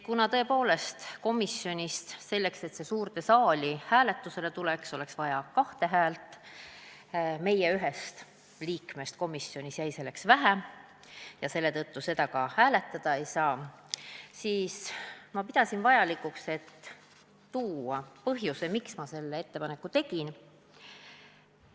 Kuna tõepoolest selleks, et muudatusettepanek komisjonist suurde saali hääletusele tuleks, olnuks vaja kahte häält ja meie ühest liikmest komisjonis jäi siinkohal väheks – mistõttu seda ettepanekut hääletada ei saagi –, siis pidasin ma vajalikuks põhjendada, miks ma selle ettepaneku tegin.